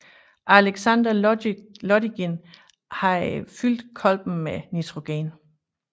Alexander Lodygin havde fyldt kolben med nitrogen